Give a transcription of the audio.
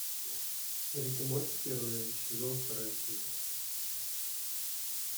рик и морти первый сезон вторая серия